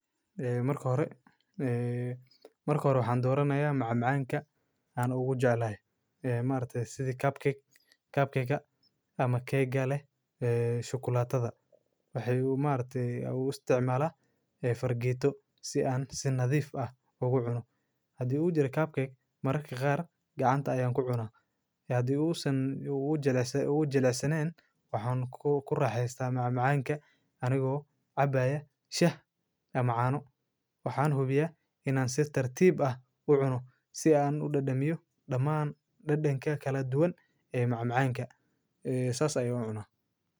Ee marki hora waxan doranaya macmacanka an ugujeclahay ee maaragti sidhi kapkega ama kega leh shukalatadha waxay maaragti ugu isticmala ee fargeto si an si nadhif ah ah ugucuno hdii udira kapkek marka qaar gacanta ayan kucuna hdii u san ugujilicsanen waxan kuraxeyta macmacanka anigo cabaya shaah ama caano. Waxan hubiya inan si tartiib ah u cuna si an udadamiyo damaan dadanka kaladuwan ee macmacanka ee sas ayan ucuna.